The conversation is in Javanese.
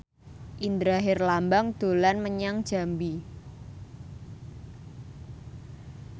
Indra Herlambang dolan menyang Jambi